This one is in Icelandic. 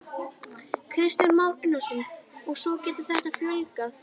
Kristján Már Unnarsson: Og svo getur þetta fjölgað?